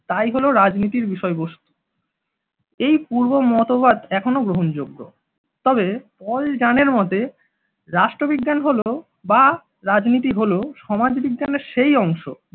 তাই হলো রাজনীতির বিষয়বস্তু এই পূর্ব মতবাদ এখনও গ্রহণযোগ্য তবে পলযান এর মতে রাষ্ট্রবিজ্ঞান হল বা রাজনীতি হলো সমাজবিজ্ঞানের সেই অংশ,